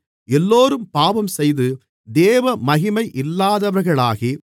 எல்லோரும் பாவம்செய்து தேவமகிமை இல்லாதவர்களாகி